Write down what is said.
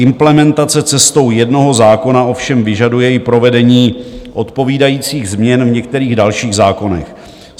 Implementace cestou jednoho zákona ovšem vyžaduje i provedení odpovídajících změn v některých dalších zákonech.